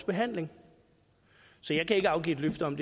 behandling så jeg kan ikke afgive et løfte om